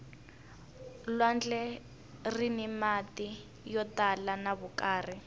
lwandle rini mati yo tala ya vukarhi